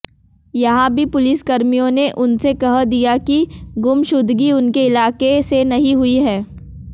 यहां भी पुलिसकर्मियों ने उनसे कह दिया कि गुमशुदगी उनके इलाके से नहीं हुई है